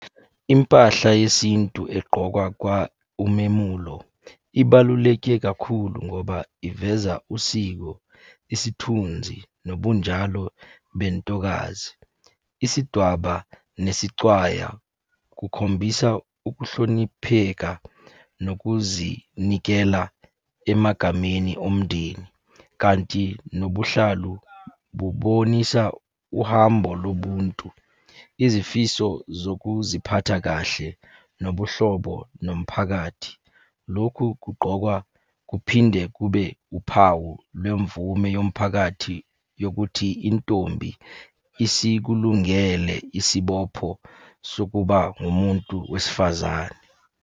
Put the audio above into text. Impahla yesintu egqokwa umemulo, ibaluleke kakhulu ngoba iveza usiko, isithunzi, nobunjalo bentokazi. Isidwaba nesicwaya kukhombisa ukuhlonipheka nokuzinikela emagameni omndeni, kanti nobuhlalu bubonisa uhambo lobuntu, izifiso zokuziphatha kahle, nobuhlobo nomphakathi. Lokhu kugqokwa kuphinde kube uphawu lwemvume yomphakathi yokuthi intombi isikulungele isibopho sokuba ngumuntu wesifazane.